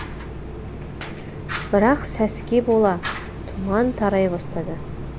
бірақ сәске бола тұман тарай бастады